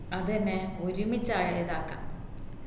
അത് എന്നെ ഒരുമിച്ച് അയക്കാ